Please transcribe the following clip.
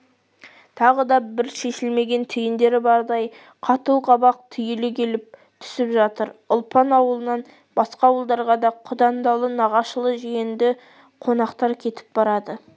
тағы да бір шешілмеген түйіндері бардай қату қабақ түйіле келіп түсіп жатыр ұлпан ауылынан басқа ауылдарға да құдандалы нағашылы жиенді қонақтар кетіп барады